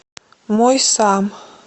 мой сам